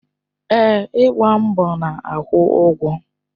Èè, ịgba mbọ na-akwụ ụgwọ.